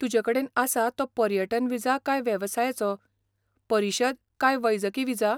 तुजे कडेन आसा तो पर्यटन विजा काय वेवसायाचो, परिशद काय वैजकी विजा?